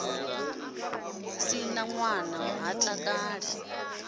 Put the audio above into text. si na ṋwana ha takali